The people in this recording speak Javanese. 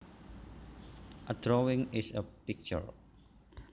A drawing is a picture